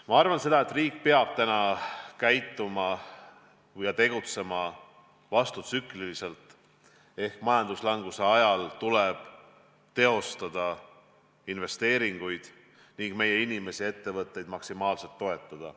Ma arvan, et riik peab täna käituma ja tegutsema vastutsükliliselt ehk majanduslanguse ajal tegema investeeringuid ning inimesi ja ettevõtteid maksimaalselt toetama.